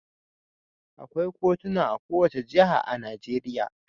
Akwai kotuna a kowace jiha a Najeriya.